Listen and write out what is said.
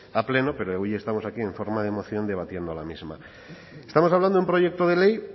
a pleno pero hoy estamos aquí en forma de moción debatiendo la misma estamos hablando de un proyecto de ley